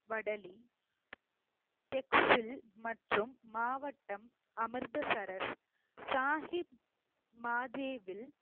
வடலி பெட்ஸில் மற்றும் மாவட்டம் அமிர்தசரஸ் சாஹிப் மாதேவில்